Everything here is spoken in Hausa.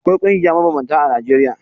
Akwai ƙungiya mabambanta a Najeriya.